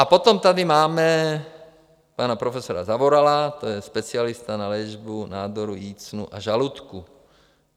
A potom tady máme pana profesora Zavorala, to je specialista na léčbu nádorů jícnu a žaludku.